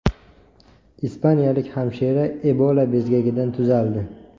Ispaniyalik hamshira Ebola bezgagidan tuzaldi.